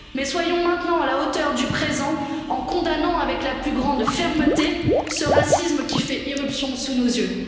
Soyons maintenant à la hauteur du présent en condamnant avec la plus grande fermeté ce racisme qui fait irruption sous nos yeux.